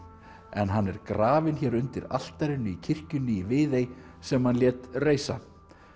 en hann er grafinn hér undir altarinu í kirkjunni í Viðey sem hann lét reisa